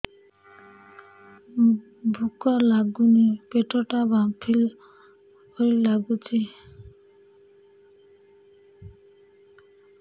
ଭୁକ ଲାଗୁନି ପେଟ ଟା ଫାମ୍ପିଲା ପରି ନାଗୁଚି